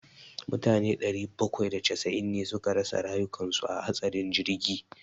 Mutane sama da ɗari bakwai da casa'in ne suka rasa rayukan su a hatsarin jirgi.